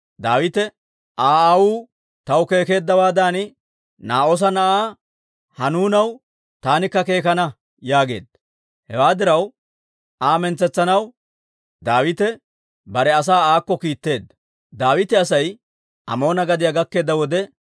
Daawite, «Aa aawuu taw keekeddawaaddan Naa'oosa na'aa Hanuunaw taanikka keekana» yaageedda. Hewaa diraw, Aa mintsetsanaw Daawite bare asaa aakko kiitteedda. Daawita Asay Amoona gadiyaa gakkeedda wode,